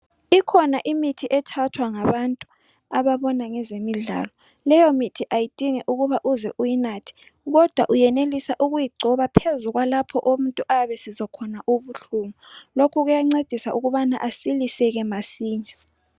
Ikhona imithi ethathwa ngabantu ababona ngezemidlalo. Leyo mithi ayidingi ukuba uze uyi nathe kodwa uyenelisa ukuyigcoba phezu kwalapho umuntu ayabe esizwa khona ubuhlungu. Lokhu kuyancedisa ukubana asiliseke masinya.